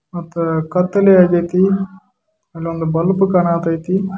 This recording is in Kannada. ಅಲ್ಲಿ ಕತ್ತಲೆಯಾಗಿದೆ ಬೆಳಕು ಕಾಣುತ್ತದ ಮತ್ತು